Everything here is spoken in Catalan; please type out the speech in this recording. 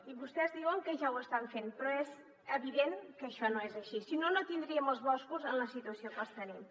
i vostès diuen que ja ho estan fent però és evident que això no és així si no no tindríem els boscos en la situació que els tenim